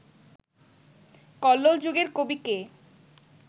কল্লোল যুগের কবি কে